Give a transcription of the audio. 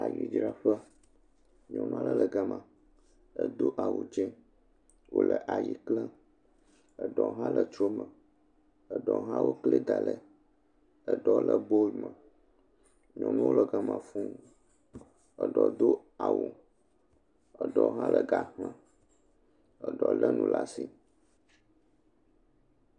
Ayi dzraƒe nyɔnu aɖe gama edo awu dzĩ wole ayi klem ɖewo le tsrome ɖewo wokli daɖi wole bol me nyɔnuwo le gama fuu ɖewo do awu ɖewo le ga xlem ɖewo le nuɖe asi